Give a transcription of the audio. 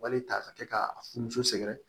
Wali ta ka kɛ k'a funu sɛgɛrɛ